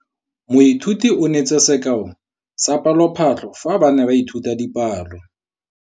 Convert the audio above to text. Moithuti o neetse sekaô sa palophatlo fa ba ne ba ithuta dipalo.